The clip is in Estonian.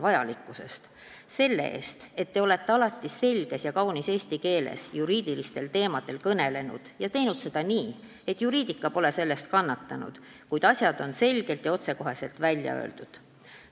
Tänan teid selle eest, et te olete alati selges ja kaunis eesti keeles juriidilistel teemadel kõnelenud ja teinud seda nii, et juriidika pole kannatanud, kuid asjad on selgelt ja otsekoheselt välja öeldud.